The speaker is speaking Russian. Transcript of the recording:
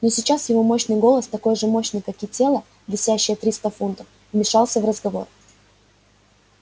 но сейчас его мощный голос такой же мощный как и тело весящее триста фунтов вмешался в разговор